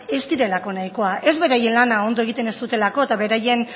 ez direlako nahikoak ez beraien lana ondo egiten ez dutelako eta beraien